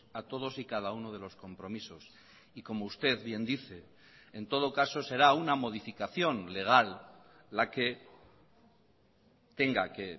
a todos y cada uno de los compromisos y como usted bien dice en todo caso será una modificación legal la que tenga que